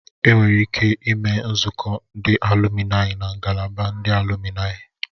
Enwere ike ime nzukọ ndị alụminayi na ngalaba ndị alụminayi